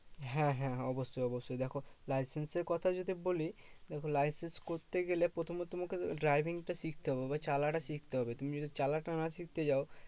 হ্যাঁ হ্যাঁ অবশ্যই অবশ্যই। দেখো licence এর কথা যদি বলি, তো licence করতে গেলে প্রথমত তোমাকে driving টা শিখতে হবে বা চালানো টা শিখতে হবে। তুমি চালানো টা না শিখতে যাও